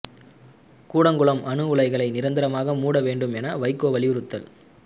கூடங்குளம் அணு உலைகளை நிரந்தரமாக மூட வேண்டும் என வைகோ வலியுறுத்தல்